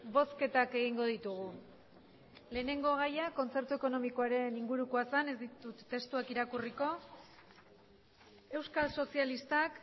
bozketak egingo ditugu lehenengo gaia kontzertu ekonomikoaren ingurukoa zen ez ditut testuak irakurriko euskal sozialistak